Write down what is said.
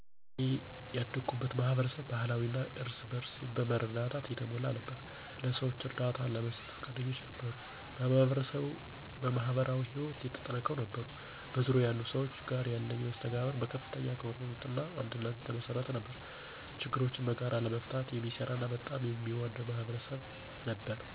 እኔ ያደኩበት ማህበረሰብ ባህላዊ እና እርስ በእርስ በመረዳዳት የተሞላ ነበር። ለሰዎች እርዳታ ለመስጠት ፈቃደኞች ነበሩ፣ በማህበራዊ ህይወት የተጠናከሩ ነበሩ። በዙሪያዬ ያሉ ሰዎች ጋር ያለኝ መስተጋብር በከፍተኛ አክብሮት እና አንድነት የተመሰረተ ነበር፤ ችግሮችን በጋራ ለመፍታት የሚሰራ እና በጣም የሚዋደድ ማህበረሰብ ነበር።